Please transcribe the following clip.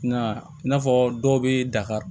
Nka i n'a fɔ dɔw bɛ dakari